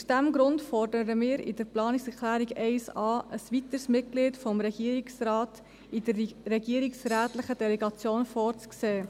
Aus diesem Grund fordern wir in der Planungserklärung 1.a, es sei ein weiteres Mitglied des Regierungsrates in der regierungsrätlichen Delegation vorzusehen.